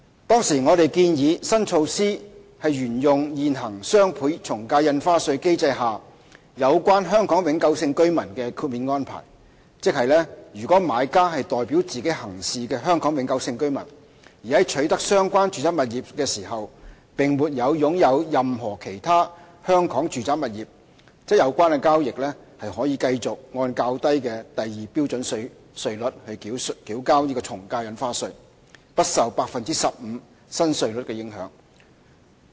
當時我們建議，新措施沿用現行雙倍從價印花稅機制下有關香港永久性居民的豁免安排，即：如買家是代表自己行事的香港永久性居民，而在取得相關住宅物業時並沒有擁有任何其他香港住宅物業，則有關交易可繼續按較低的第2標準稅率繳交從價印花稅，而不受 15% 新稅率的影響。